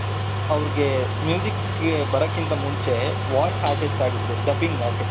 ಅವರಿಗೆ ಗೆ ಬರಕಿಂತ ಮುಂಚೆ voice artist ಆಗಿದ್ರು dubbing artist .